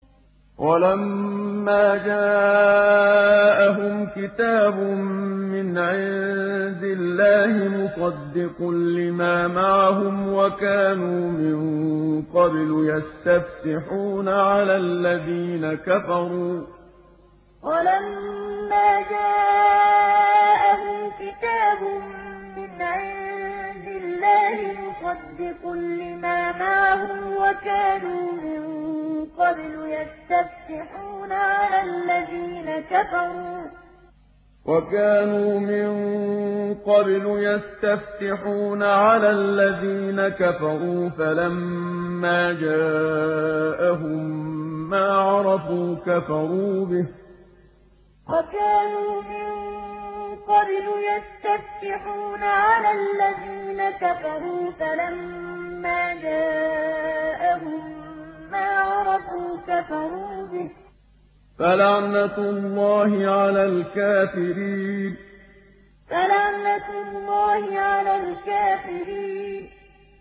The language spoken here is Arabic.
وَلَمَّا جَاءَهُمْ كِتَابٌ مِّنْ عِندِ اللَّهِ مُصَدِّقٌ لِّمَا مَعَهُمْ وَكَانُوا مِن قَبْلُ يَسْتَفْتِحُونَ عَلَى الَّذِينَ كَفَرُوا فَلَمَّا جَاءَهُم مَّا عَرَفُوا كَفَرُوا بِهِ ۚ فَلَعْنَةُ اللَّهِ عَلَى الْكَافِرِينَ وَلَمَّا جَاءَهُمْ كِتَابٌ مِّنْ عِندِ اللَّهِ مُصَدِّقٌ لِّمَا مَعَهُمْ وَكَانُوا مِن قَبْلُ يَسْتَفْتِحُونَ عَلَى الَّذِينَ كَفَرُوا فَلَمَّا جَاءَهُم مَّا عَرَفُوا كَفَرُوا بِهِ ۚ فَلَعْنَةُ اللَّهِ عَلَى الْكَافِرِينَ